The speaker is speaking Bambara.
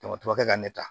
Dɔgɔtɔrɔkɛ ka ne ta